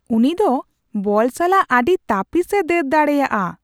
ᱩᱱᱤ ᱫᱚ ᱵᱚᱞ ᱥᱟᱞᱟᱜ ᱟᱹᱰᱤ ᱛᱟᱹᱯᱤᱥᱼᱮ ᱫᱟᱹᱲ ᱫᱟᱲᱮᱭᱟᱜᱼᱟ !